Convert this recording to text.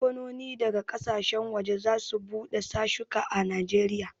Kamfanoni daga ƙasashen waje za su bude sashuka a Najeriya